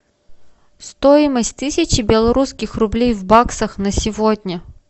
стоимость тысячи белорусских рублей в баксах на сегодня